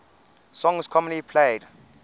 songs commonly played